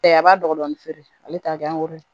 Ɛɛ a b'a dɔgɔmani feere ale t'a kɛ ye